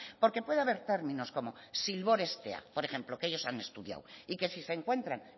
porque puede haber términos como zilbor estea por ejemplo que ellos han estudiado y que si se encuentran